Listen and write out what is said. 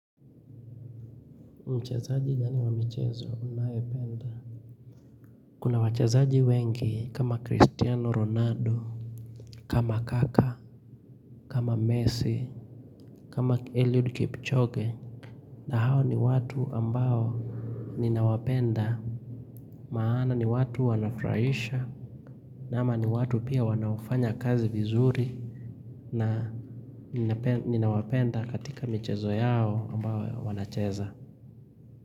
Mchezaji gani wa michezo? Unaae penda? Kuna wachezaji wengi kama Cristiano Ronaldo, kama Kaka, kama Messi, kama Eliud Kipchoge, na hao ni watu ambao ninawapenda, maana ni watu wanafurahisha, ama ni watu pia wanaofanya kazi vizuri, na ninawapenda katika michezo yao ambayo wanacheza.